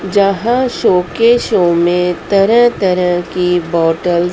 यहां शोकेशो में तरह तरह की बॉटल --